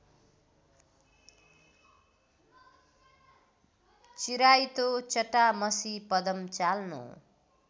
चिराइतो चटामसी पदमचाल्नो